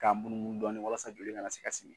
K'a munumunu dɔɔnin walasa joli kana se ka sigi